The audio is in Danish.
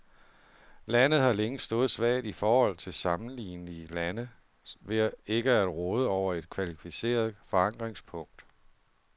Landet har længe stået svagt i forhold til sammenlignelige lande ved ikke at råde over et kvalificeret forankringspunkt.